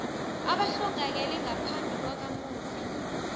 abahlongakele ngaphambi kwakamufi